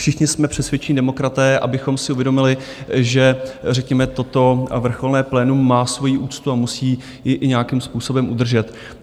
Všichni jsme přesvědčení demokraté, abychom si uvědomili, že řekněme toto vrcholné plénum má svoji úctu a musí ji i nějakým způsobem udržet.